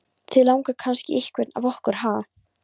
Þig langar kannski í einhvern af okkur, ha?